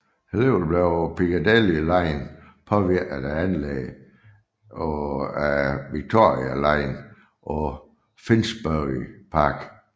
Alligevel blev Piccadilly line påvirket af anlægget af Victoria line på Finsbury Park